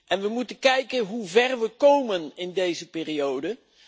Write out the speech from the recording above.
en we moeten kijken hoe ver we komen in deze periode.